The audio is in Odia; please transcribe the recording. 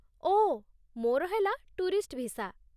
ଓଃ, ମୋର ହେଲା ଟୁରିଷ୍ଟ ଭିସା ।